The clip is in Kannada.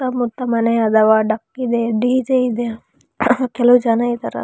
ಸುತ್ತ ಮುತ್ತ ಮನೆ ಅದಾವ ಇದೆ ಡಿ.ಜೆ ಇದೆ ಕೆಲವು ಜನ ಇದಾರ.